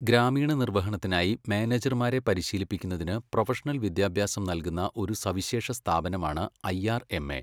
ഗ്രാമീണ നിർവഹണത്തിനായി മാനേജർമാരെ പരിശീലിപ്പിക്കുന്നതിന് പ്രൊഫഷണൽ വിദ്യാഭ്യാസം നൽകുന്ന ഒരു സവിശേഷ സ്ഥാപനമാണ് ഐ ആർ എം എ.